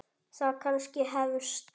Það kannski hefst.